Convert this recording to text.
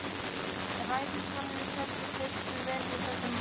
Ræðismanninum féll í fyrstu vel við þessa menn.